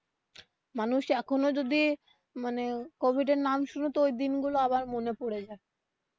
মানুষ এখনো যদি মানে কোভিড এর নাম শুনে তো ওই দিন গুলো আবার মনে পড়ে যায়.